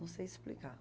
Não sei explicar.